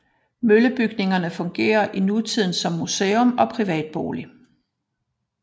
Møllebygningerne fungerer i nutiden som museum og privatbolig